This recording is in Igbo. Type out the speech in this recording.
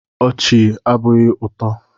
Ochié abụghị ụtọ.